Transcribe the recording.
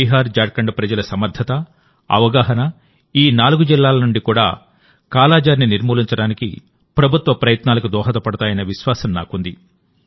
బీహార్జార్ఖండ్ ప్రజల సమర్థత అవగాహన ఈ నాలుగు జిల్లాల నుండి కూడా కాలాజార్ని నిర్మూలించడానికి ప్రభుత్వ ప్రయత్నాలకు దోహదపడతాయన్న విశ్వాసం నాకుంది